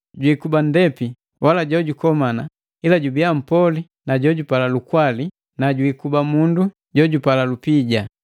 jwikuba nndepi au wala jojukomana ila jubiya mpoli, jojupala lukwali, jwiikuba mundu jojupala lupija;